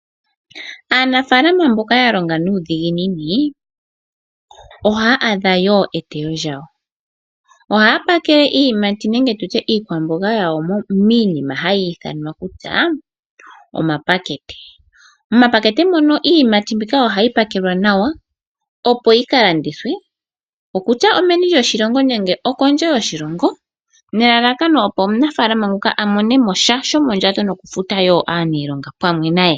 Aanafaalama mboka ya longa nuudhiginini ohaya adha woo eteyo lyawo .ohaya Pakele iiyimati nenge iikwamboga yawo miinima hayi ithanwa kutya omapakete . Momapakete muno iiyimati mbika ohayi pakelwa nayo opo yi kalandithwe okutya omeni lyoshilongo nenge kondje yoshilongo amone mosha shomondjato noku futa woo aaniilonga pamwe naye.